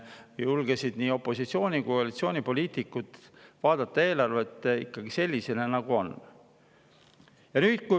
Siis julgesid nii opositsiooni‑ kui ka koalitsioonipoliitikud vaadata eelarvet ikkagi sellisena, nagu see on.